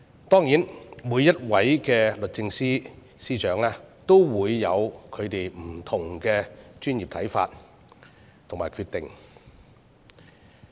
當然，每一位律政司司長也有不同的專業判斷和決定。